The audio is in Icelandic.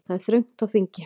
Það er þröngt á þingi